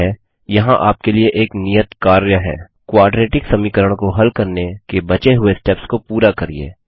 ठीक है यहाँ आपके लिए एक नियत कार्य है क्वाड्रेटिक समीकरण को हल करने के बचे हुए स्टेप्स को पूरा करिये